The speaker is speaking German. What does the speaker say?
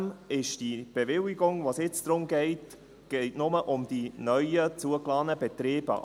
Zudem gilt die Bewilligung, um die es jetzt geht, nur für die neu zugelassenen Betriebe.